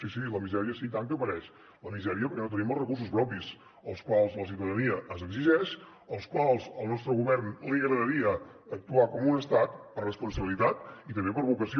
sí sí la misèria sí i tant que apareix la misèria perquè no tenim els recursos propis els quals la ciutadania ens exigeix pels quals al nostre govern li agradaria actuar com un estat per responsabilitat i també per vocació